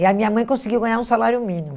E a minha mãe conseguiu ganhar um salário mínimo.